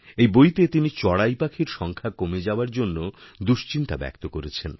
এই বইতে তিনি চড়াই পাখির সংখ্যাকমে যাওয়ার জন্য দুশ্চিন্তা ব্যক্ত করেছেন